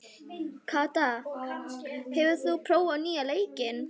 Kata, hefur þú prófað nýja leikinn?